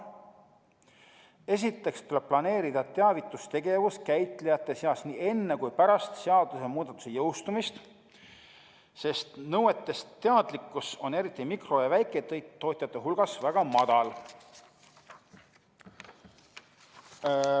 Esiteks tuleb planeerida teavitustegevus käitlejate seas nii enne kui ka pärast seadusemuudatuse jõustumist, sest teadlikkus nõuetest on eriti mikro- ja väiketootjate hulgas väga madal.